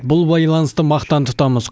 бұл байланысты мақтан тұтамыз